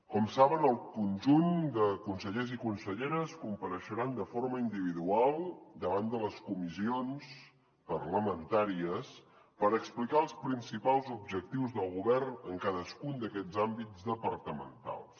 com saben el conjunt de consellers i conselleres compareixeran de forma individual davant de les comissions parlamentàries per explicar els principals objectius del govern en cadascun d’aquests àmbits departamentals